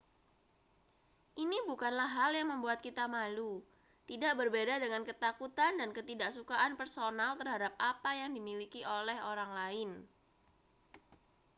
ini bukanlah hal yang membuat kita malu tidak berbeda dengan ketakutan dan ketidaksukaan personal terhadap apa yang dimiliki oleh orang lain